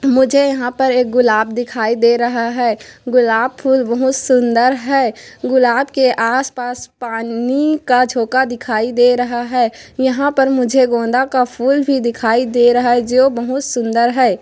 मुझे यहाँ पर एक गुलाब दिखाई दे रहा है गुलाब फूल बहुत सुंदर है गुलाब के आसपास पानी का झोंका दिखाई दे रहा है यहाँ पर मुझे गोंदा का फूल भी दिखाई दे रहा है जो बहुत सुंदर है।